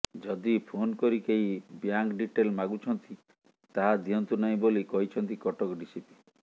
ଯଦି ଫୋନ୍ କରି କେହି ବ୍ୟାଙ୍କ ଡିଟେଲ୍ ମାଗୁଛନ୍ତି ତାହା ଦିଅନ୍ତୁ ନାହିଁ ବୋଲି କହିଛନ୍ତି କଟକ ଡିସିପି